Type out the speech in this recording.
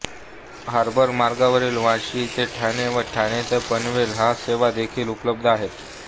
harbour मार्गावर वाशी ते ठाणे व ठाणे ते पनवेल ह्या सेवा देखील उपलब्ध आहेत